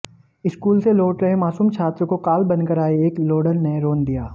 school से लौट रहे मासूम छात्र को काल बनकर आए एक लोडर ने रौंद दिया